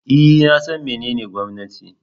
E, na san menene gwamnati.